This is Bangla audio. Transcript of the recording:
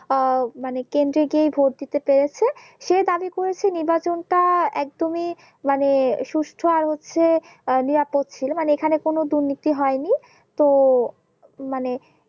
আহ মানে কেন্দ্রে গিয়েই ভোট দিতে পেড়েছেন, সে দাবি করেছে নির্বাচনটা একদমই মানে সুস্থ আর হচ্ছে আহ নিরাপদ ছিল মানে এখানে কোনো দুর্নীতি হয়নি তো মানে